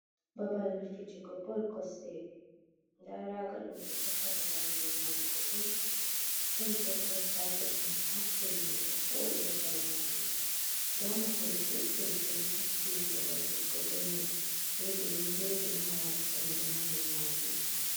Babal fijugo bol kosɗe nda raga ɗum ɓe tokkata ngam mi nyamugo bol, ɗon bo giras kapet ɗum ɓe hakkilini ɗo voɗi babal majum, nda mahol juɗɗum ɗum takki babal fijugo bol mai wodi windoji ha ɓandu mahol majum.